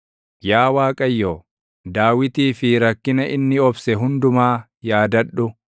Yaa Waaqayyo, Daawitii fi rakkina inni obse hundumaa yaadadhu.